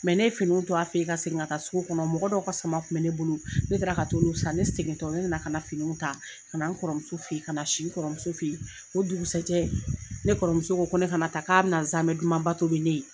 ne ye finiw to a fɛ ye ka segin ka taa sugu kɔnɔ mɔgɔ dɔw ka sama kun bɛ ne bolo ne taara ka t'olu san ne segintɔ ne na na ka na finiw ta ka na n kɔrɔ muso fɛ ye ka na si n kɔrɔmuso fɛ ye o dugusɛ jɛ ne kɔrɔmuso ko ko ne ka na taa k'a bɛ na zaamɛn dumanba tobi ne ye.